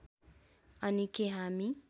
अनि के हामी